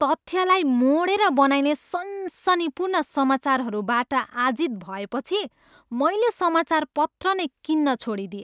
तथ्यलाई मोडेर बनाइने सनसनीपूर्ण समाचारहरूबाट आजित भएपछि मैले समाचारपत्र नै किन्न छोडिदिएँ।